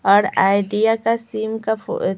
और आईडिया का सीम का--